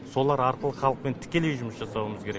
солар арқылы халықпен тікелей жұмыс жасауымыз керек